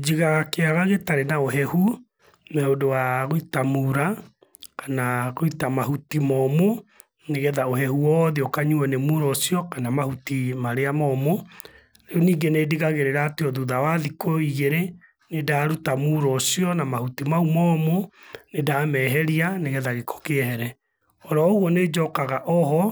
Njigaga kĩaga gĩtarĩ na ũhehu na ũndũ wa gũita muura kana gũita mahuti momũ, nĩgetha ũhehu wothe ũkanyuwo nĩ muura ũcio kana mahuti marĩa momũ. Rĩu ningĩ nĩndigagĩrĩra atĩ o thutha wa thikũ igĩrĩ nĩ ndaruta muura ũcio na mahuti ma u momũ, nĩndameheria nĩgetha gĩko kĩehere. O ro ũguo nĩnjokaga o ho